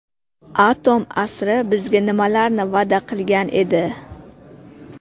Atom asri bizga nimalarni va’da qilgan edi?.